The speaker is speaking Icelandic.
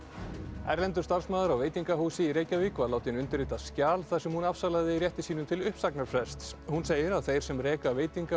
erlendur starfsmaður á veitingahúsi í Reykjavík var látinn undirrita skjal þar sem hún afsalaði rétti sínum til uppsagnarfrests hún segir að þeir sem reka veitinga og